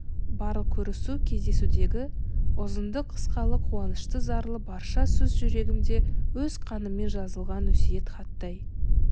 барлық көрісу-кездесудегі ұзынды-қысқалы қуанышты-зарлы барша сөз жүрегімде өз қаныммен жазылған өсиет хаттай